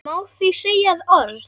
Má því segja að orð